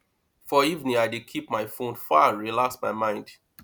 for evening i dey keep my fone far relax my mind